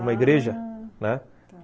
Uma igreja, ah, né?, tá.